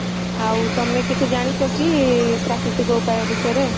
ଆଉ ତମେ କିଛି ଜାଣିଛ କି ପ୍ରାକୃତିକ ଉପାୟ ବିଷୟରେ